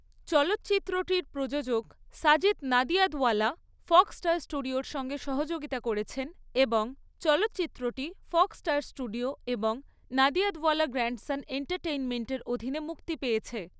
চলচ্চিত্রটির প্রযোজক, Sajid Nadiadwala, Fox Star স্টুডিওর সঙ্গে সহযোগিতা করেছেন এবং চলচ্চিত্রটি ফক্স স্টার স্টুডিও এবং নাদিয়াদওয়ালা গ্র্যান্ডসন এন্টারটেইনমেন্টের অধীনে মুক্তি পেয়েছে।